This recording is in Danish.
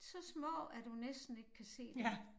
Så små at du næsten ikke kan se dem